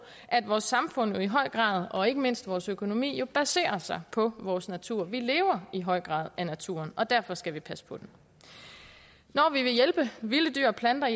at vores samfund i høj grad og ikke mindst vores økonomi baserer sig på vores natur vi lever i høj grad af naturen og derfor skal vi passe på den når vi vil hjælpe vilde dyr og planter